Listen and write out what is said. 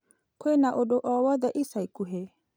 Kwĩna ũndũ o wothe ica ikuhĩ ?